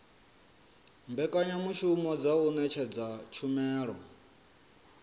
mbekanyamushumo dza u ṅetshedza tshumelo